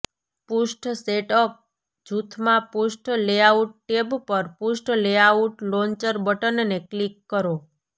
પૃષ્ઠ સેટઅપ જૂથમાં પૃષ્ઠ લેઆઉટ ટેબ પર પૃષ્ઠ લેઆઉટ લોન્ચર બટનને ક્લિક કરો